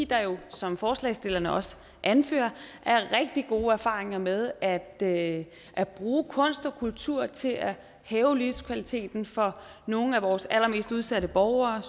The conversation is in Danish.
der jo som forslagsstillerne også anfører er rigtig gode erfaringer med at at bruge kunst og kultur til at hæve livskvaliteten for nogle af vores allermest udsatte borgere